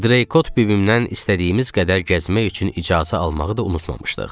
Drekot bibimdən istədiyimiz qədər gəzmək üçün icazə almağı da unutmamışdıq.